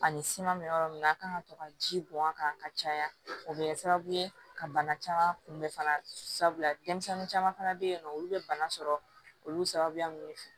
Ani siman bɛ yɔrɔ min na a kan ka to ka ji bɔn a kan ka caya o bɛ kɛ sababu ye ka bana caman kun bɛn fana sabula denmisɛnnin caman fana bɛ yen nɔ olu bɛ bana sɔrɔ olu sababuya minnu fɛ